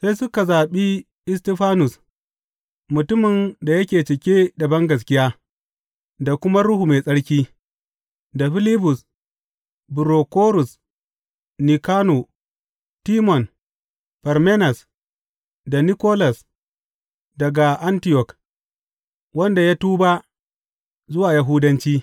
Sai suka zaɓi Istifanus, mutumin da yake cike da bangaskiya da kuma Ruhu Mai Tsarki; da Filibus, Burokorus, Nikano, Timon, Farmenas, da Nikolas daga Antiyok, wanda ya tuba zuwa Yahudanci.